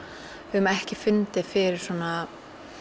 höfum ekki fundið fyrir svona